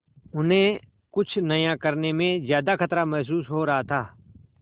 उन्हें कुछ नया करने में ज्यादा खतरा महसूस हो रहा था